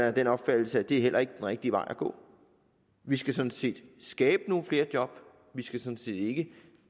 af den opfattelse at det heller ikke er den rigtige vej at gå vi skal sådan set skabe nogle flere job vi skal sådan set ikke